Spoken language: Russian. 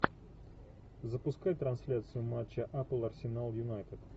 запускай трансляцию матча апл арсенал юнайтед